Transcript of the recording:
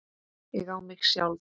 Ég á mig sjálf.